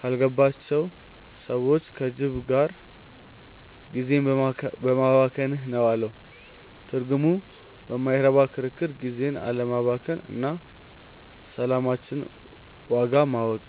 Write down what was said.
ካልገባቸው ሰዎች (ከጅብ) ጋር ጊዜህን በማባከንህ ነው" አለው። ትምህርቱ በማይረባ ክርክር ጊዜን አለማባከን እና የሰላማችንን ዋጋ ማወቅ።